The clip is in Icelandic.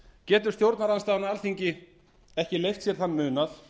getur stjórnarandstaðan á alþingi ekki leyft sér þann munað